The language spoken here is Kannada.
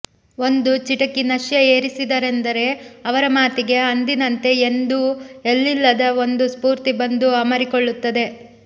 ಒಂದು ಚಿಟಕಿ ನಶ್ಯ ಏರಿಸಿದರೆಂದರೆ ಅವರ ಮಾತಿಗೆ ಅಂದಿನಂತೆ ಇಂದೂ ಎಲ್ಲಿಲ್ಲದ ಒಂದು ಸ್ಫೂರ್ತಿ ಬಂದು ಅಮರಿಕೊಳ್ಳುತ್ತದೆ